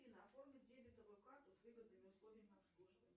афина оформи дебетовую карту с выгодными условиями обслуживания